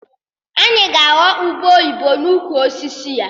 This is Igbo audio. Anyị ga-aghọ ube oyibo n'ukwu osisi ya